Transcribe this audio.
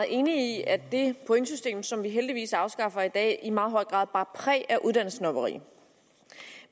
enige i at det pointsystem som vi heldigvis afskaffer i dag i meget høj grad bar præg af uddannelsessnobberi